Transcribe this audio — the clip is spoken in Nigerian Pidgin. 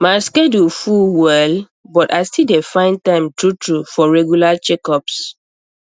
my schedule full well but i still dey find time truetrue for regular checkups